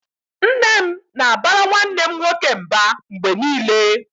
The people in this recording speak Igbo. Nne m na-abara nwanne m nwoke mba mgbe niile